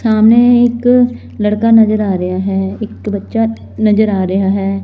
ਸਾਹਮਣੇ ਇੱਕ ਲੜਕਾ ਨਜ਼ਰ ਆ ਰਿਹਾ ਹੈ ਇੱਕ ਬੱਚਾ ਨਜ਼ਰ ਆ ਰਿਹਾ ਹੈ।